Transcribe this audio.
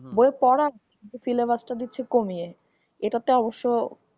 বইয়ের পড়াটা syllabus টা দিচ্ছে কমিয়ে এটাতো অবশ্য।